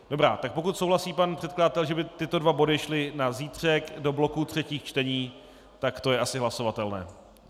Dobrá, tak pokud souhlasí pan předkladatel, že by tyto dva body šly na zítřek do bloku třetích čtení, tak to je asi hlasovatelné.